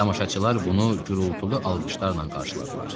Tamaşaçılar bunu gurultulu alqışlarla qarşıladılar.